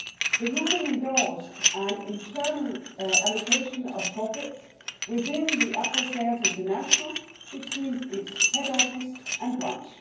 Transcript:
The ruling endorsed an internal allocation of profits within Apple Sales International between its head office and branch.